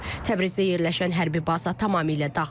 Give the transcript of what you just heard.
Təbrizdə yerləşən hərbi baza tamamilə dağıdılıb.